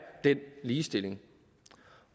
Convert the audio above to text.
den ligestilling